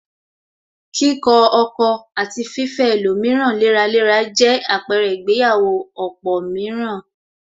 Kíkọ ọkọ̀ àti fifẹ́ ẹlòmíràn léraléra jẹ àpẹrẹ ìgbéyàwó ọ̀pọ̀ mìíràn